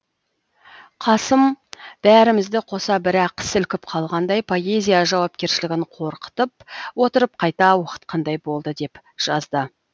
қасым бәрімізді қоса бір ақ сілкіп қалғандай поэзия жауапкершілігін қорқытып отырып қайта оқытқандай болды деп жазды